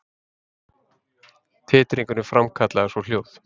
Titringurinn framkallaði svo hljóð.